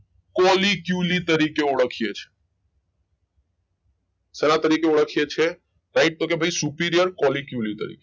કોલી ક્યુલી તરીખે ઓળખીએ છીએ શેના તરીખે ઓળખીયે છીએ રાઈટે તો કે ભઈ superior કોલી ક્યુલી તરીખે